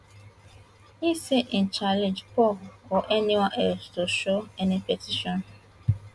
e say im challenge paul or anyone else to show any petition